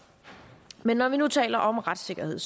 men når vi nu taler om retssikkerhed